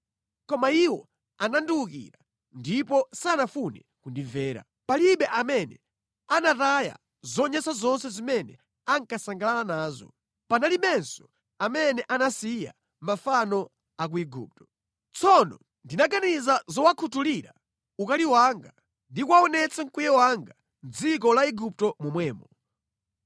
“ ‘Koma iwo anandiwukira ndipo sanafune kundimvera. Palibe amene anataya zonyansa zonse zimene ankasangalala nazo. Panalibenso amene anasiya mafano a ku Igupto. Tsono ndinaganiza zowakhuthulira ukali wanga ndi kuwaonetsa mkwiyo wanga mʼdziko la Igupto momwemo.